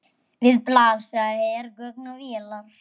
Við blasa hergögn og vélar.